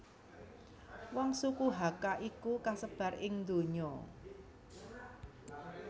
Wong suku Hakka iku kasebar ing ndonya